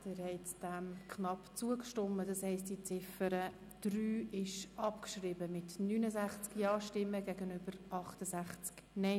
Sie haben der Abschreibung knapp zugestimmt und die Ziffer 3 abgeschrieben mit 69 Ja- zu 68 NeinStimmen bei 0 Enthaltungen.